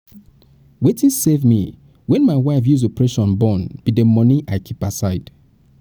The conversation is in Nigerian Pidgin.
wetin save me wen my wife use operation born be the money i keep aside